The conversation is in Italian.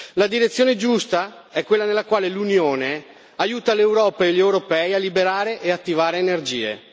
La direzione giusta è quella nella quale l'Unione aiuta l'Europa e gli europei a liberare e attivare energie